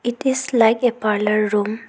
It is like a parlour room.